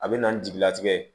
A bɛ na ni jigilatigɛ ye